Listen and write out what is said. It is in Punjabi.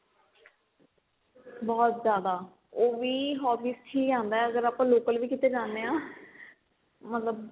ਬਹੁਤ ਜਿਆਦਾ ਉਹ ਵੀ hobbies ਚ ਹੀ ਆਂਦਾ ਅਗਰ ਆਪਾਂ local ਵੀ ਕੀਤੇ ਜਾਣੇ ਆ ਮਤਲਬ